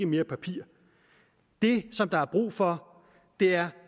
mere papir det der er brug for er